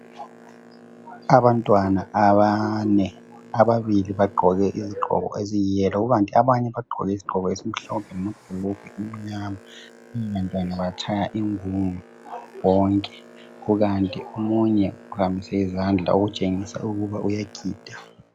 Abantwana abane ababili bagqoke izigqoko eziyiyelo kukanti abanye bagqoke isigqoko esimhlophe lamabhulugwe amnyama, laba bantwana batshaya ingungu bonke kukanti omunye uphakamise izandla okutshengisa ukuba uyagida.